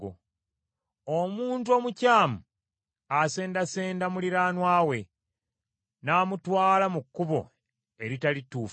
Omuntu omukyamu asendasenda muliraanwa we n’amutwala mu kkubo eritali ttuufu.